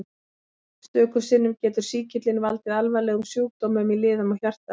Stöku sinnum getur sýkillinn valdið alvarlegum sjúkdómum í liðum og hjarta.